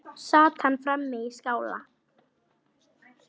Sat hann frammi í skála.